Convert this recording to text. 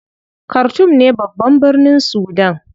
Khartoum ne babban birnin Sudan.